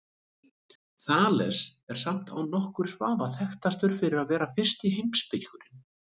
Þales er samt án nokkurs vafa þekktastur fyrir að vera fyrsti heimspekingurinn.